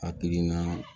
Hakilina